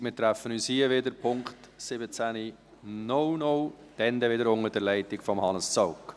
Wir treffen uns hier wieder um Punkt 17.00 Uhr, dann wieder unter der Leitung von Hannes Zaugg.